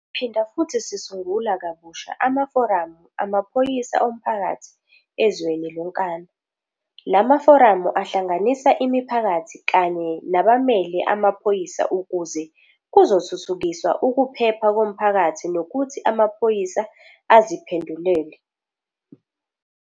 Siphinda futhi sisungula kabusha amaforamu amaphoyisa omphakathi ezweni lonkana. La maforamu ahlanganisa imiphakathi kanye nabamele amaphoyisa ukuze kuzothuthukiswa ukuphepha komphakathi nokuthi amaphoyisa aziphendulele.